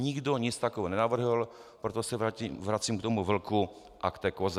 Nikdo nic takového nenavrhl, proto se vracím k tomu vlku a k té koze.